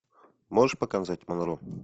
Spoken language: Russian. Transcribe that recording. можешь показать монро